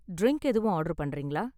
Drink எதுவும் order பண்றீங்களா?